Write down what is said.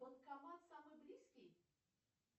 банкомат самый близкий